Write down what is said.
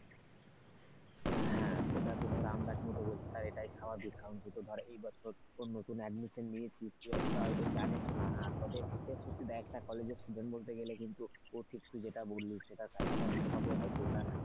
হ্যাঁ সেটা তো ধর আন্দাজ মতো বলছিস আর এটাই স্বাভাবিক কারণ তুই তো ধর এই বছর নতুন admission নিয়েছিস তুই অতটা হয়তো জানিস না তবে সত্যি দেখ একটা কলেজের student বলতে গেলে কিন্তু তুই যেটা বললি সেটা কাছাকাছি হবে হয়তো ওটা।